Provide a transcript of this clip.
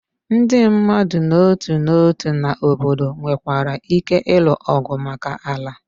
Ndị mmadụ n'otu n'otu na obodo nwekwara ike ịlụ ọgụ maka ala.